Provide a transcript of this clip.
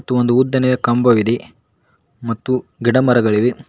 ತ್ತು ಉದ್ದನೇ ಕಂಬವಿದೆ ಮತ್ತು ಗಿಡ ಮರಗಳಿವೆ.